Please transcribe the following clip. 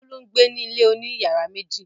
Bólú ń gbé ní ilé oní ìyàrá méjì.